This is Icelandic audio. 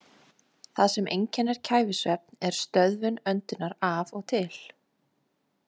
Það sem einkennir kæfisvefn er stöðvun öndunar af og til.